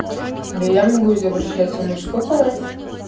да я могу изображать и мужской голос